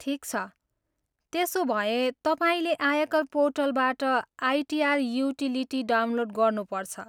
ठिक छ, त्यसोभए तपाईँले आयकर पोर्टलबाट आइटिआर युटिलिटी डाउनलोड गर्नु पर्छ।